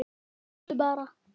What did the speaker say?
Bíddu bara!